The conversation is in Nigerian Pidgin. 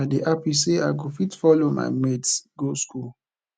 i dey happy say i go fit follow my mates go school